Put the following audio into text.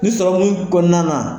Ni sɔrɔ kɔnɔna na.